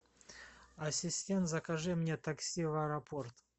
ассистент закажи мне такси в аэропорт